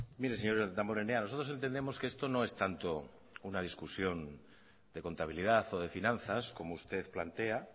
mire señor damborenea nosotros entendemos que esto no es tanto una discusión de contabilidad o de finanzas como usted plantea